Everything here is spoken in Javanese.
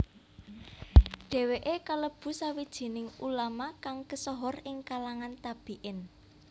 Dhèwèké kalebu sawijining ulama kang kesohor ing kalangan tabi in